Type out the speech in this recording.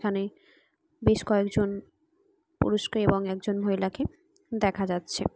এখানে বেশ কয়েকজন পুরুষকে এবং একজন মহিলাকে দেখা যাচ্ছে ।